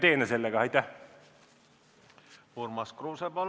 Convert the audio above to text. Urmas Kruuse, palun!